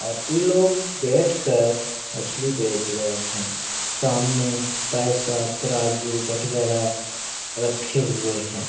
और इ लोग बेठ कर मछली बेच रहे हैं। सामने पैसा त्राजू बटखरा रखे हुए हैं।